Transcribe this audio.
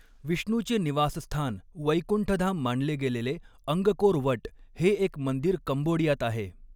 विष्णूचे निवासस्थान वैकुंठधाम मानले गेलेले अंगकोर वट हे एक मंदिर कंबोडियात आहे.